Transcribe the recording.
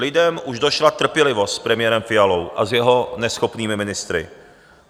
Lidem už došla trpělivost s premiérem Fialou a s jeho neschopnými ministry.